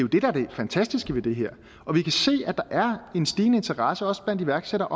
fantastiske ved det her og vi kan se at der er en stigende interesse også blandt iværksættere